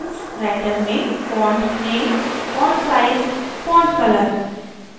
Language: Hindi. writer में font name font size font color